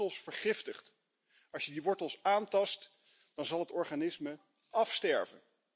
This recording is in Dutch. Als je die wortels vergiftigt, als je die wortels aantast, dan zal het organisme afsterven.